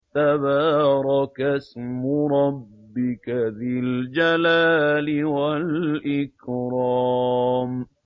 تَبَارَكَ اسْمُ رَبِّكَ ذِي الْجَلَالِ وَالْإِكْرَامِ